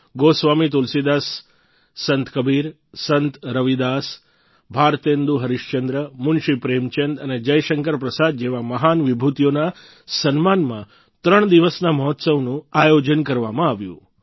ગોસ્વામી તુલસીદાસ સંત કબિર સંત રવિદાસ ભારતેન્દુ હરીશચંદ્ર મુન્શી પ્રેમચંદ અને જયશંકર પ્રસાદ જેવા મહાન વિભૂતીઓના સન્માનમાં ત્રણ દિવસના મહોત્સવનું આયોજન કરવામાં આવ્યું